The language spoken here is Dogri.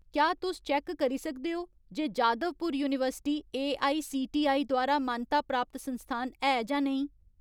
क्या तुस चैक्क करी सकदे ओ जे जादवपुर यूनिवर्सिटी एआईसीटीई द्वारा मानता प्राप्त संस्थान है जां नेईं ?